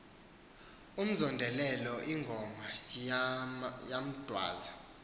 umzondelelo ingoma yemdazwe